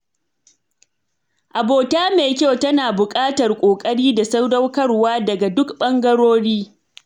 Abota mai kyau tana bukatar ƙoƙari da sadaukarwa daga duk ɓangarori.